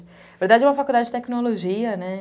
Na verdade é uma faculdade de tecnologia, né?